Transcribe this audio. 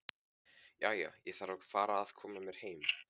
Jæja, ég þarf að fara að koma mér heim